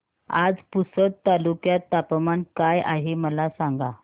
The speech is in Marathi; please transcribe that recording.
आज पुसद तालुक्यात तापमान काय आहे मला सांगा